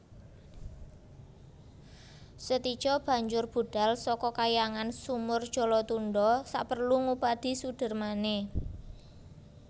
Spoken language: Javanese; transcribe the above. Setija banjur budhal saka Kahyangan Sumur Jalatundha saperlu ngupadi sudermané